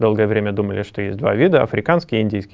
долгое время думали что есть два вида африканский и индийский